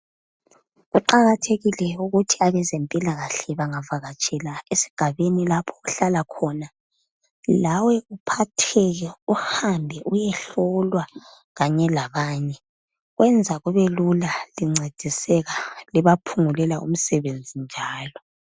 Kuqakathekile ukuthi abezempilakahle bangavakatshela esigabeni lapho ohlala knona, lawe uphatheke uhambe uyehlolwa kanye labanye. Kwenza kubelule lincediseka, libaphungulela umsebenzi njalo.